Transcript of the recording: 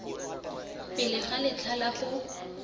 pele ga letlha la go